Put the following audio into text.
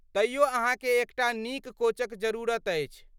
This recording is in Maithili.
तइयो अहाँके एक टा नीक कोचक जरुरत अछि।